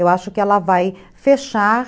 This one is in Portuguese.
Eu acho que ela vai fechar...